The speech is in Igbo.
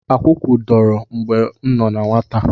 Akwụkwụ dọrọ mgbe m nọ na nwata.